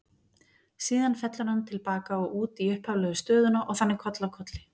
Síðan fellur hann til baka og út í upphaflegu stöðuna og þannig koll af kolli.